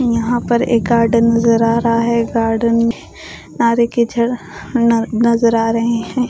यहां पर एक गार्डन नजर आ रहा है गार्डन नजर आ रहे हैं।